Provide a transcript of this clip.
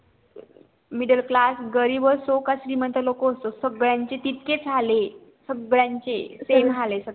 middle class गरीब असो किंवा श्रीमंत तितकेच हाल ये सगळ्या चे